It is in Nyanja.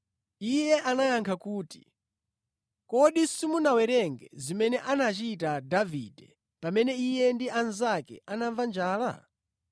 Iye anayankha kuti, “Kodi simunawerenge zimene anachita Davide pamene iye ndi anzake anamva njala?